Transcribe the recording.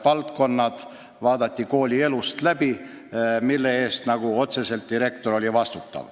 Kõik koolielu valdkonnad, mille eest direktor otseselt vastutas, võeti läbi.